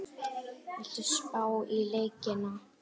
Viltu spá í leikina?